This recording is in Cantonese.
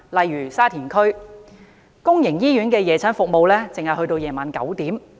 以沙田區為例，公營醫院的夜診服務只直至晚上9時。